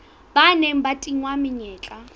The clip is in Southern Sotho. ba neng ba tingwa menyetla